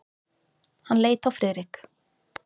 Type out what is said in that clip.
Hann leit á Friðrik.